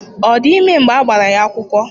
Ọ dị ime mgbe a gbara ya akwụkwọ?